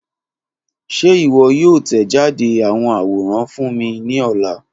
Ṣe iwọ yoo tẹjade awọn aworan fun mi ni ọla?